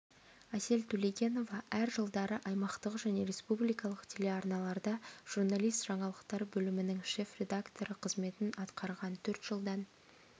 әсел төлегенова әр жылдары аймақтық және республикалық телеарналарда журналист жаңалықтар бөлімінің шеф-редакторы қызметін атқарған төрт жылдан